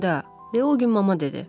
Deyə o gün mama dedi.